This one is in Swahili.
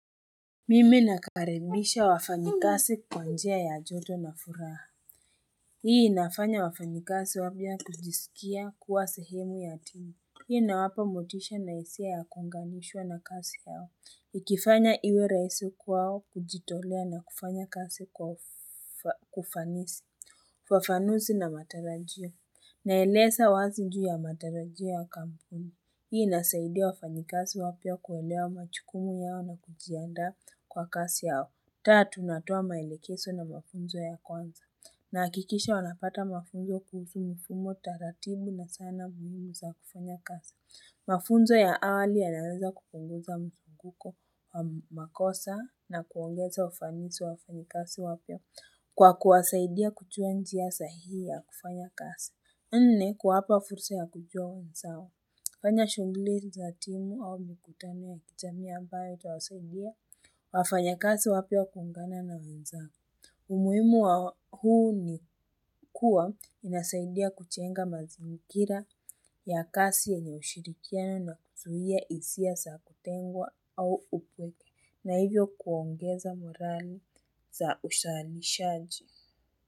Mimi nakaribisha wafanyikazi kwa njia ya joto na furaha. Hii inafanya wafanyikazi wapya kujisikia kuwa sehemu ya timu. Hii inawapo motisha na hisia ya kuunganishwa na kazi yao. Ikifanya iwe rahisi kwao kujitolea na kufanya kasi kwa ufanisi. Wafanuzi na matarajio. Naeleza wazi juu ya matarajio ya kampuni. Hii inasaidia wafanyikazi wapya kuelewa majukumu yao na kujiandaa kwa kazi yao. Tatu, natoa maelekezo na mafunzo ya kwanza. Nahakikisha wanapata mafunzo kuhusu mfumo taratibu na sana mbinu za kufanya kazi. Mafunzo ya awali yanaweza kupunguza mfunguko wa makosa na kuongeza ufanisi wa wafanyikazi wapya kwa kuwasaidia kujua njia sahihi ya kufanya kazi. Nne kuwapa fursa ya kujua wenzao, kufanya shughuli za timu au mikutano ya kujamii ambayo itawasaidia wafanyakazi wapya kuungana na wenzao. Umuhimu wa huu ni kuwa inasaidia kujenga mazingira ya kazi yenye ushirikiano na kuzuia hisia za kutengwa au upweke na hivyo kuongeza morali za uzalishaji.